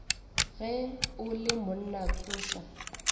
ge o le monna tsoša